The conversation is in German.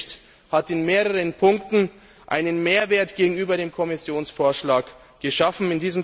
Der Bericht hat in mehreren Punkten einen Mehrwert gegenüber dem Kommissionsvorschlag geschaffen.